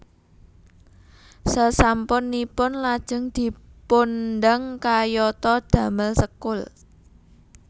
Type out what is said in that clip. Sesampun ipun lajeng dipundang kayata damel sekul